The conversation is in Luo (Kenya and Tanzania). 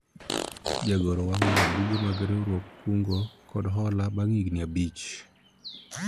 jagoro wang'o ga buge mag riwruog kungo kod hola bang' higni abich